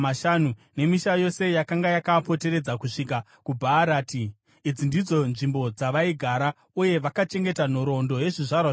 nemisha yose yakanga yakaapoteredza kusvika kuBhaarati. Idzi ndidzo nzvimbo dzavaigara. Uye vakachengeta nhoroondo yezvizvarwa zvavo: